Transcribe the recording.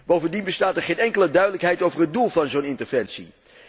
Bovendien bestaat er geen enkele duidelijkheid over het doel van zo'n interventie.